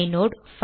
inode